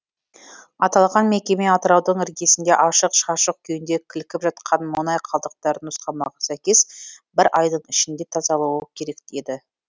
аталған мекеме атыраудың іргесінде ашық шашық күйінде кілкіп жатқан мұнай қалдықтарын нұсқамаға сәйкес бір айдың ішінде тазалуы керек еді